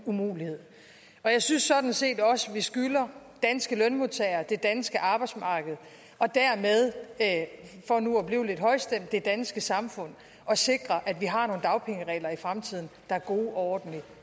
umulighed jeg synes sådan set også at vi skylder danske lønmodtagere det danske arbejdsmarked og dermed for nu at blive lidt højstemt det danske samfund at sikre at vi har nogle dagpengeregler i fremtiden der er gode og ordentlige